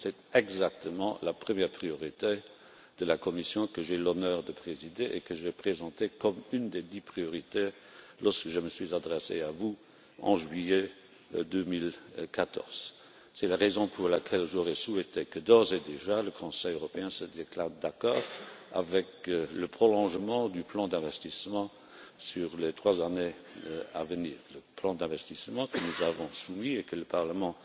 C'est exactement la première priorité de la Commission que j'ai l'honneur de présider, et que j'ai présentée comme une des dix priorités lorsque je me suis adressé à vous en juillet 2014. C'est la raison pour laquelle j'aurais souhaité que, d'ores et déjà, le Conseil européen se déclare d'accord avec le prolongement du plan d'investissement sur les trois années à venir, plan d'investissement que nous avons soumis, que le Parlement